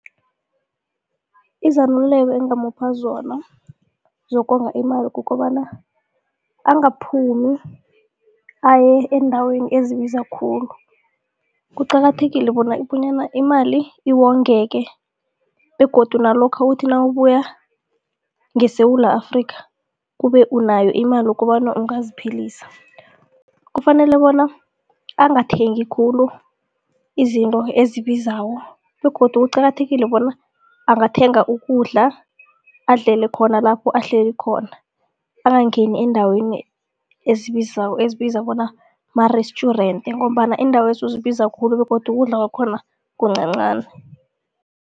Izeluleko engamupha zona zokonga imali kukobana angaphumi aye eendaweni ezibiza khulu. Kuqakathekile bona imali iwongeke begodu nalokha uthi nawubuya ngeSewula Afrika kube unayo imali ukobana ungaziphilisa. Kufanele bona angathengi khulu izinto ezibizako begodu kuqakathekile bona angathenga ukudla adlele khona lapho ahleli khona, angangeni eendaweni ezibizako ezibizwa bona ma-restaurant ngombana iindawezo zibiza khulu begodu ukudla kwakhona kuncancani.